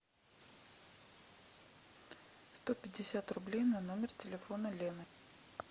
сто пятьдесят рублей на номер телефона лены